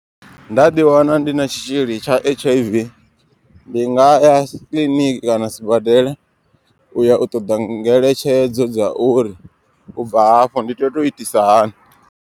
Nda ḓi wana ndi na tshitzhili tsha H_I_V ndi nga ya kiḽiniki kana sibadela. Uya u ṱoda ngeletshedzo dza uri ubva hafho ndi tea u to itisa hani.